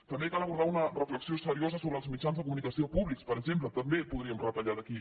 també cal abordar una reflexió seriosa sobre els mitjans de comunicació públics per exemple també podríem retallar d’aquí